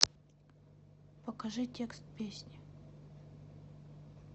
покажи текст песни